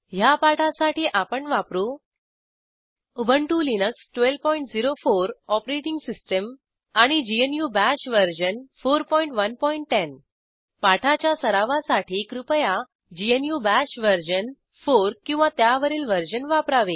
ह्या पाठासाठी आपण वापरू उबंटु लिनक्स 1204 ओएस आणि ग्नू बाश वर्जन 4110 पाठाच्या सरावासाठी कृपया ग्नू बाश वर्जन 4 किंवा त्यावरील वर्जन वापरावे